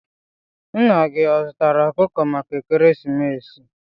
Nna gi ọ zụtara okuko maka ekeresimesi?